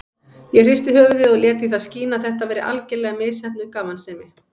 Ég hristi höfuðið og lét í það skína að þetta væri algerlega misheppnuð gamansemi.